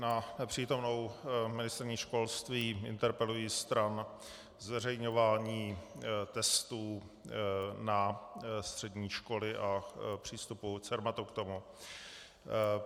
Na přítomnou ministryni školství interpeluji stran zveřejňování testů na střední školy a přístupu Cermatu k tomu.